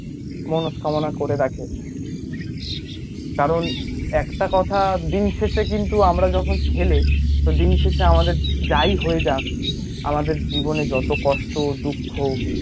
মনস্কামনা করে রাখে, কারণ একটা কথা দিন শেষে কিন্তু আমরা যখন ছেলে, দিন শেষে আমাদের যাই হয়ে যাক, আমাদের জীবনে যত কষ্ট, দুঃখ